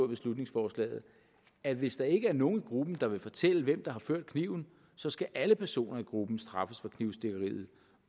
beslutningsforslaget at hvis der ikke er nogle i gruppen der vil fortælle hvem der har ført kniven så skal alle personer i gruppen straffes for knivstikkeriet